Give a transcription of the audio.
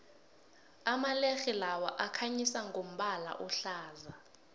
amalerhe lawa akhanyisa ngombala ohlaza